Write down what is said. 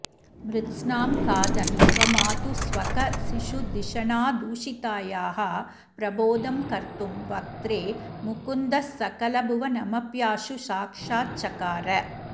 मृत्स्नां खादन् स्वमातुस्स्वकशिशुधिषणादूषितायाः प्रबोधं कर्तुं वक्त्रे मुकुन्दस्सकलभुवनमप्याशु साक्षाच्चकार